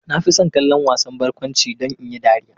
Na fi son kallon wasan barkwanci don in yi dariya.